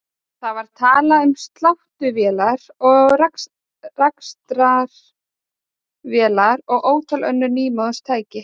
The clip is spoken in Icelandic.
Það var talað um sláttuvélar og rakstrarvélar og ótal önnur nýmóðins tæki.